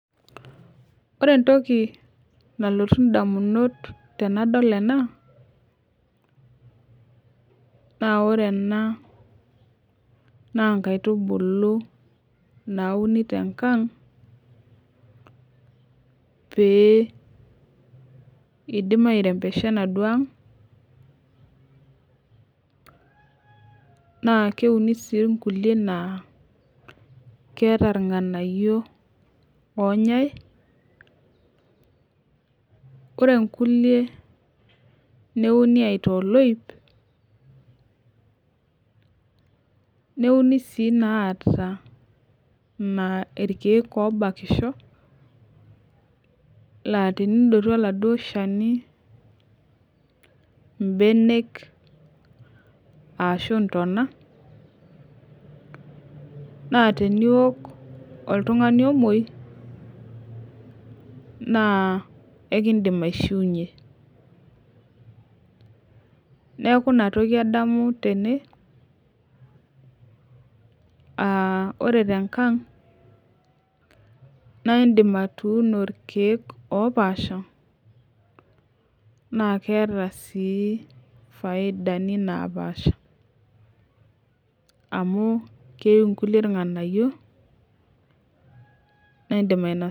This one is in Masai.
Ore entoki nalotu edamunot tenadol ena naa ore ena naa nkaitubulu nauno tenkang pidim airembesha enaduo ang naa keuni sii nkulie naa keeta irng'anayio onyai ore nkulie neuni aitaa oloip neuni sii naa irkeek obakisho naa tenidotu oladuo Shani mbenek ashu ntona naa teniok oltung'ani omuoi naa ekidim aishiunye neeku enatoki adamu tene aa ore tenkang naa edim atuon irkeek opaasha naa keeta sii faidani naapasha amu keyieu nkulie irng'anayio naa edim ainosa